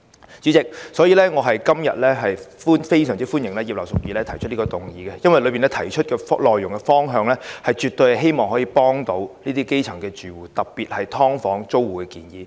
因此，主席，我今天非常歡迎葉劉淑儀議員提出這項議案，因為當中提出的內容及方向絕對可以協助基層住戶，特別是"劏房"租戶。